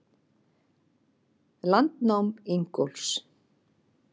Landnám Ingólfs.